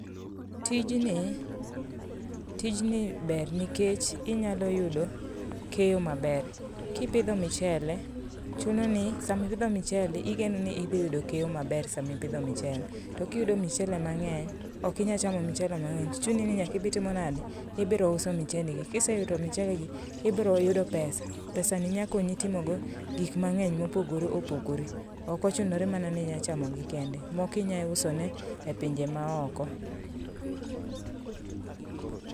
Tijni tijni ber nikech inyalo yudo keyo maber kipidho michele. Chunoni sama ipidho michele igenoni idhi yudo keyo maber sama ipidho michele. Tokiyudo michele mang'eny ok inya chamo michele mang'eny chuni ni nyaka idhi tomonde ibiro uso michendigi. Kiseuto michelegi ibiro yudo pesa pesani nyakonyi timogo gik mang'eny mopogore opogore ok ochunoni inya ma chamogi kende moko inya usone epinje maoko.